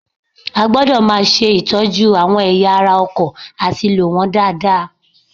A gbọdọ̀ máa ṣe ìtọ́jú àwọn ẹ̀yà ara ọkọ̀ àti lò wọ́n dáadáa